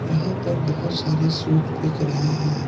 यहां पर बहुत सारे सूट बिक रहे हैं।